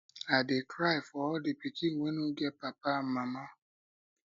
i dey cry for all the pikin wey no get papa and mama